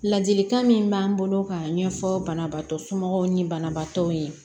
Ladilikan min b'an bolo k'a ɲɛfɔ banabaatɔ somɔgɔw ni banabaatɔw ye